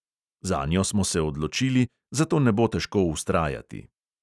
Zanjo smo se odločili, zato ne bo težko vztrajati.